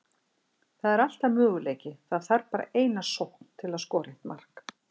Það er alltaf möguleiki, það þarf bara eina sókn til að skora eitt mark.